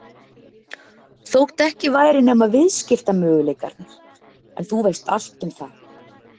Þó ekki væri nema viðskiptamöguleikarnir, en þú veist allt um það.